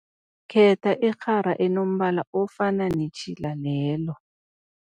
Khetha irhara enombala ofana netjhila lelo.